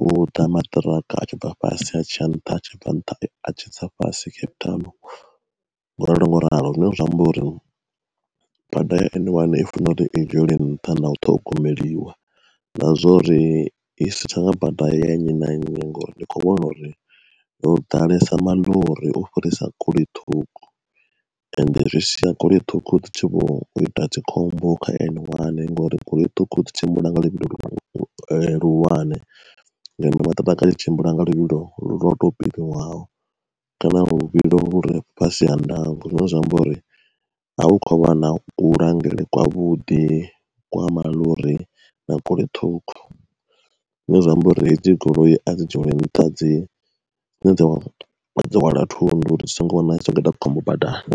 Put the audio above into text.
hu ḓa maṱiraka a tshi bva fhasi ha tshi ya nṱha, a tshi bva nṱha atshi tsa fhasi Cape Town ngo ralo ngo ralo. Zwine zwa amba uri bada ya N one i funa uri i dzhieliwe nṱha na u ṱhogomeliwa, na zwori i si tsha vha bada ya nnyi na nnyi ngori ndi kho vhona uri ho ḓalesa maḽori u fhirisa goloi ṱhukhu. Ende zwi sia goloi ṱhukhu dzi tshi vho ita dzikhombo kha N one ngori goloi ṱhukhu dzi tshimbila nga luvhilo luhulwane ngeno maṱiraka a tshi tshimbila nga luvhilo lwo tou vheiwaho kana luvhilo lure fhasi ha ndango. Zwine zwa amba uri a hu kho vha na kulangulele kwavhuḓi kwa maḽori na goloi ṱhukhu, zwine zwa amba uri hedzi goloi a dzi dzhieliwe nṱha dzi dzine dza vha dzo hwala thundu uri ri songo tsha wana dzi khou ita khombo dzi badani.